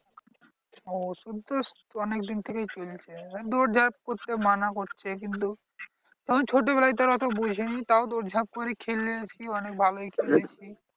ওষুধ তো অনেক দিন থেকেই চলছে এবার দৌড় ঝাঁপ করতে মানা করছে। কিন্তু তখন ছোটবেলায় তাও অত বুঝিনি তাও দৌড় ঝাঁপ করে খেলেছি অনেক ভালোই খেলেছি।